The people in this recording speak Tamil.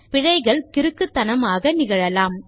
பிழைகள் கிறுக்குத்தனமாக நிகழலாம்